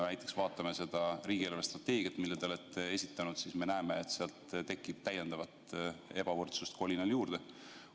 Kui vaatame näiteks riigi eelarvestrateegiat, mille te olete esitanud, siis näeme, et ebavõrdsust tekib kolinal juurde.